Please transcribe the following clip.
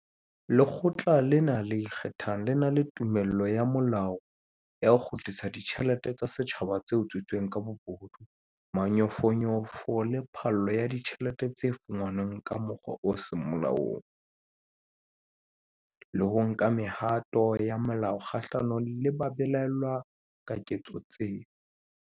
Lekgotla lena le ikgethang le na le tumello ya molao ya ho kgutlisa ditjhelete tsa setjhaba tse utswitsweng ka bobodu, manyofonyofo le phallo ya ditjhelete tse fumanweng ka mokgwa o seng molaong, le ho nka mehato ya molao kgahlano le ba belaellwang ka ketso tseo.